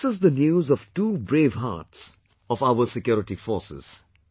This is the news of two brave hearts of our security forces